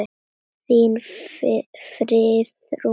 Þín, Friðrún Fanný.